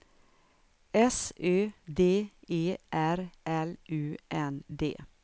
S Ö D E R L U N D